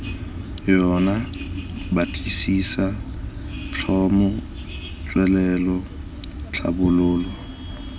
yona batlisisa tlhomo tswelelo tlhabololo